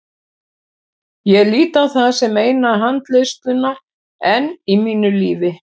Ég lít á það sem eina handleiðsluna enn í mínu lífi.